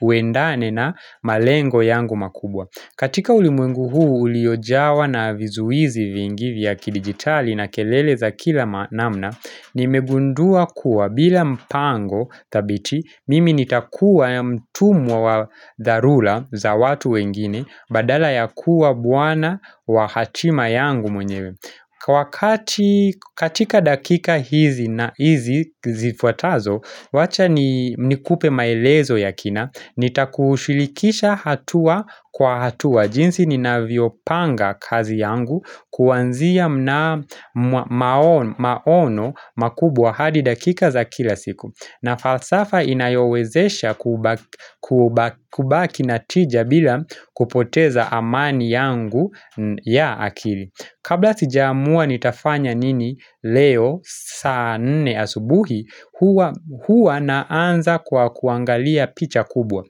uendane na malengo yangu makubwa. Katika ulimwengu huu uliyojawa na vizuizi vingivi ya kidigitali na kelele za kila namna, nimegundua kuwa bila mpango tabiti mimi nitakuwa mtumwa wa dharura za watu wengine badala ya kuwa bwana wa hatima yangu mwenyewe. Kwa wakati katika dakika hizi zifuatazo, wacha nikupe maelezo ya kina, nitakushirikisha hatua kwa hatua jinsi ninavyo panga kazi yangu kuwanzia maono makubwa hadi dakika za kila siku na falsafa inayowezesha kubaki na tija bila kupoteza amani yangu ya akili Kabla sijaamua nitafanya nini leo saa nne asubuhi huwa naanza kwa kuangalia picha kubwa.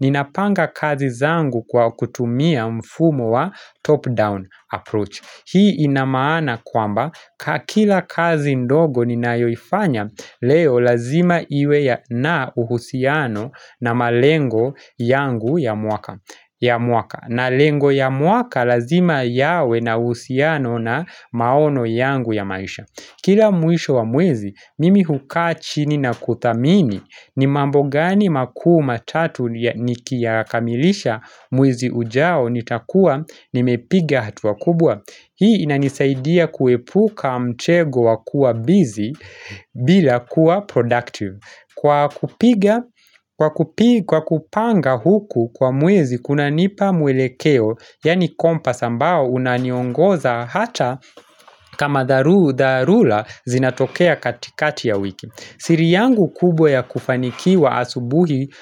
Ninapanga kazi zangu kwa kutumia mfumo wa top down approach. Hii inamaana kwamba kila kazi ndogo ninayoifanya leo lazima iwe na uhusiano na malengo yangu ya mwaka. Ya mwaka na lengo ya mwaka lazima yawe na uhusiano na maono yangu ya maisha Kila mwisho wa mwezi mimi huka chini na kutamini ni mambo gani makuu matatu nikiyakamilisha mwezi ujao nitakuwa nimepiga hatua kubwa Hii inanisaidia kuepuka mtego wakua busy bila kuwa productive Kwa kupanga huku kwa mwezi kuna nipa mwelekeo, yani compass ambao unaniongoza hata kama dharura zinatokea katikati ya wiki. Siri yangu kubwa ya kufanikiwa asubuhi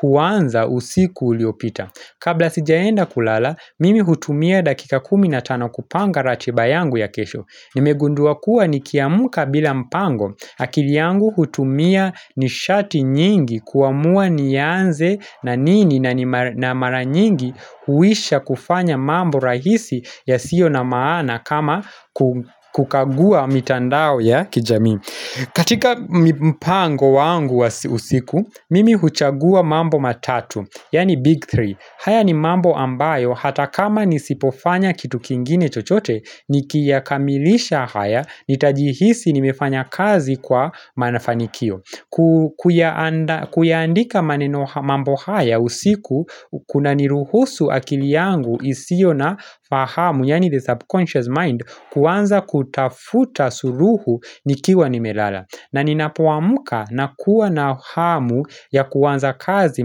huaanza usiku uliopita. Kabla sijaenda kulala, mimi hutumia dakika kumi na tano kupanga ratiba yangu ya kesho. Nimegundua kuwa nikiamka bila mpango, akili yangu hutumia nishati nyingi kuamua nianze na nini na mara nyingi huisha kufanya mambo rahisi ya sio na maana kama kukagua mitandao ya kijamii. Katika mpango wangu wa usiku, mimi huchagua mambo matatu, yani big three haya ni mambo ambayo, hata kama nisipofanya kitu kingine chochote, nikiyakamilisha haya, nitajihisi nimefanya kazi kwa mafanikio kuandika mambo haya usiku, kuna niruhusu akili yangu isiyo na fahamu, yani the subconscious mind Kwanza kutafuta suluhu nikiwa nimelala na ninapuamuka na kuwa na hamu ya kuwanza kazi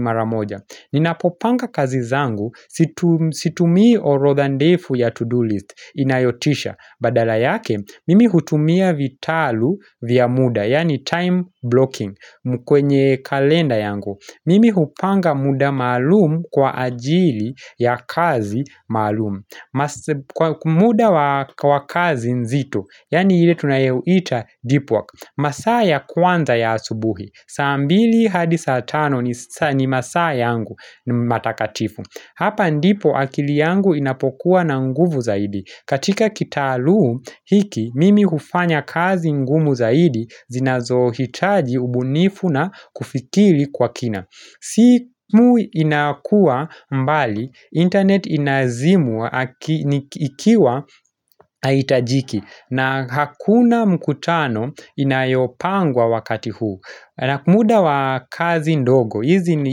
maramoja Ninapopanga kazi zangu situmii orodha ndefu ya to-do list inayotisha Badala yake mimi hutumia vitalu vya muda Yani time blocking kwenye kalenda yangu Mimi hupanga muda maalum kwa ajili ya kazi maalum Kwa muda wa kazi nzito Yani ile tunayoita deep work masaa ya kwanza ya asubuhi saa mbili hadi saa tano ni masaa yangu matakatifu Hapa ndipo akili yangu inapokuwa na nguvu zaidi katika kitalu hiki mimi hufanya kazi ngumu zaidi zinazohitaji ubunifu na kufikiri kwa kina simu inakuwa mbali internet inazimwa ikiwa haitajiki na hakuna mkutano inayopangwa wakati huu muda wa kazi ndogo hizi ni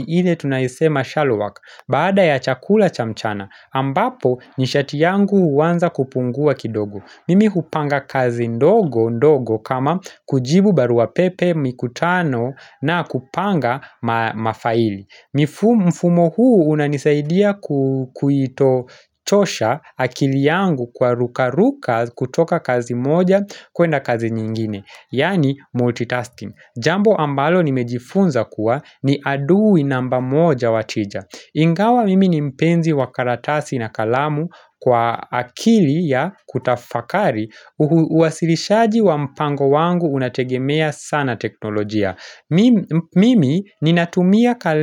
ile tunayosema shallow work Baada ya chakula cha mchana ambapo ni shati yangu huwanza kupungua kidogo Mimi kupanga kazi ndogo kama kujibu barua pepe mikutano na kupanga mafaili mfumo huu unanisaidia kuitochosha akili yangu kwa ruka ruka kutoka kazi moja kuenda kazi nyingine Yani multitasking Jambo ambalo nimejifunza kuwa ni adui namba moja wa tija Ingawa mimi ni mpenzi wa karatasi na kalamu kwa akili ya kutafakari Uwasilishaji wa mpango wangu unategemea sana teknolojia Mimi ninatumia kalenda.